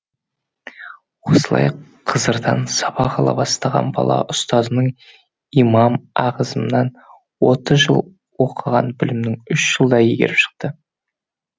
осылай қызардан сабақ ала бастаған бала ұстазының имам ағзымнан отыз жыл оқыған білімін үш жылда игеріп шықды